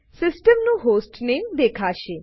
system નું hostname દેખાશે